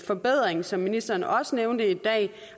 forbedring som ministeren også nævnte i dag